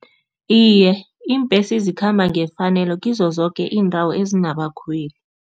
Iye, iimbesi zikhamba ngefanelo kizo zoke iindawo ezinabakhweli.